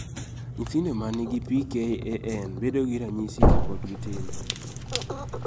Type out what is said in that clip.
nythindo man gi PKAN bedo gi ranyisi kapod gitindo